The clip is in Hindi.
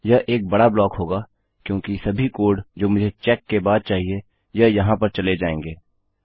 यह एक बड़ा ब्लॉक होगा क्योंकि सभी कोड जो मुझे चेक के बाद चाहिए यह यहाँ पर चले जायेंगे